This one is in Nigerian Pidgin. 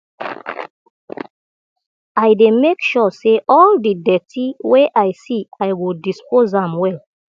i dey mek sure say all di dirty wey i see i go dispose am well